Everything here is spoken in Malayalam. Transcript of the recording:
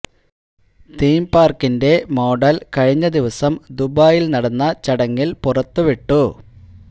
തീം പാര്ക്കിന്റെ മോഡല് കഴിഞ്ഞ ദിവസം ദുബായില് നടന്ന ചടങ്ങില് പുറത്തിവിട്ടു